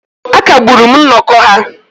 A kagburu nnọkọ ha